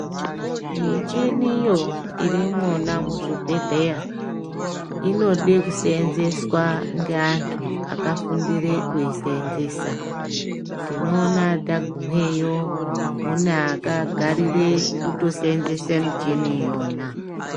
Michiniyo iri imwona muzvibhehleya inode kuseenzeswa ngeantu akafundire kuiseenzesa. Tinoona tagumeyo mune akagarire kutoseenzese michini iyona.